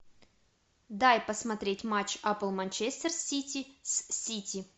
дай посмотреть матч апл манчестер сити с сити